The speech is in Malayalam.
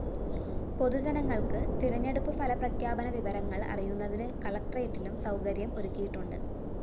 പൊതുജനങ്ങള്‍ക്ക് തെരഞ്ഞെടുപ്പ് ഫലപ്രഖ്യാപന വിവരങ്ങള്‍ അറിയുന്നതിന് കലക്ടറേറ്റിലും സൗകര്യം ഒരുക്കിയിട്ടുണ്ട്